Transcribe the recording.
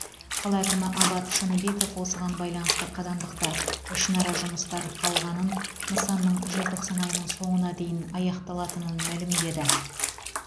қала әкімі абат шыныбеков осыған байланысты қазандықта ішінара жұмыстар қалғанын нысанның желтоқсан айының соңына дейін аяқталатынын мәлімдеді